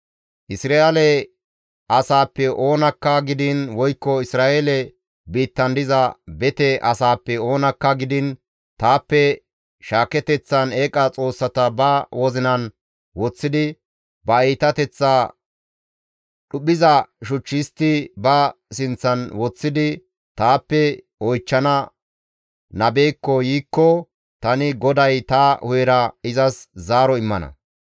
« ‹Isra7eele asaappe oonakka gidiin woykko Isra7eele biittan diza bete asaappe oonakka gidiin, taappe shaaketeththan eeqa xoossata ba wozinan woththidi, ba iitateththa dhuphiza shuch histti ba sinththan woththidi taappe oychchana nabekko yiikko tani GODAY ta hu7era izas zaaro immana.